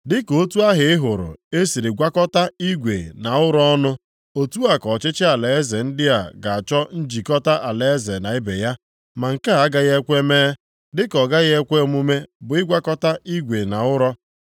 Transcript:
Dịka otu ahụ ị hụrụ e siri gwakọta igwe na ụrọ ọnụ, otu a ka ọchịchị alaeze ndị a ga-achọ njikọta alaeze na ibe ya, ma nke a agaghị ekwe mee, dịka ọ gaghị ekwe omume bụ ịgwakọta igwe na ụrọ.